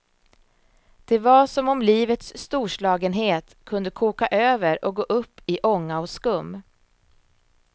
Det var som om livets storslagenhet kunde koka över och gå upp i ånga och skum.